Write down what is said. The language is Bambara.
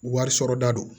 Wari sɔrɔ da don